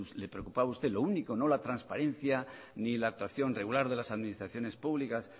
le preocupaba a usted lo único no la transparencia ni la actuación regular de las administraciones públicas